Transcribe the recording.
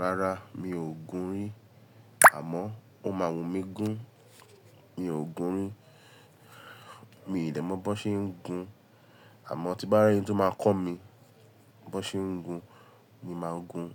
Rárá mi ò gún rí àmọ́ ó máa wùnmí gún. Mi ò gún rí, mi i dè mọ bó ṣe ń gún. Àmọ́ tí bá rí ẹni tí ó máa kọ́ mi bó ṣe ń gún, mi máa gún.